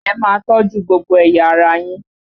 Ẹ máa tọ́jú gbogbo ẹ̀yà ara yín!